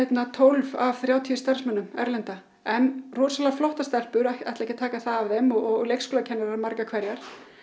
tólf af þrjátíu starfsmönnum erlenda en rosalega flottar stelpur ætla ekki að taka það af þeim og leikskólakennara margar hverjar